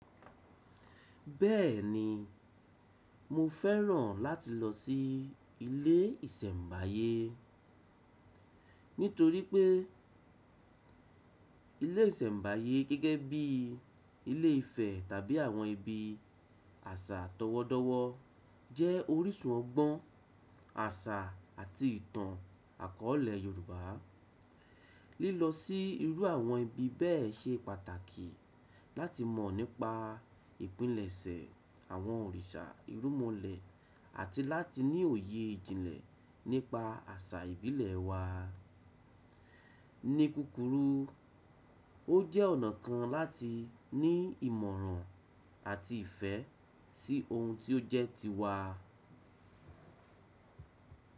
Bẹ́ẹ̀ni, mo fẹ́ràn láti lọ sí ilé ìsẹ̀mbáyé e. Nítorí pé e ilé ìsẹ̀mbáyé gẹ́gẹ́ bí ilé ìfẹ̀ tàbí àwọn ibi àṣà tọwọ́ọ́dọwọ́ jẹ́ orísun ọgbọ́n àṣà àti ìtàn àkọ̀ọ̀lẹ̀ Yorùbá. Lílọ sí irú àwọn ibi bẹ́ẹ̀ ṣe pàtàkì láti mọ̀ nípa ìpilẹ̀ṣẹ̀ àwọn òrìṣà ìrúnmọlẹ̀ àti láti ní òye ìjìnlẹ̀ nípa àṣà ìbílẹ̀ wa a. Ní kúkúrú, ó jẹ́ ọ̀nà kan láti ní ìmọ̀ràn àti ìfẹ́ sí hun tí ó jẹ́ tiwa.